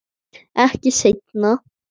Ekki seinna.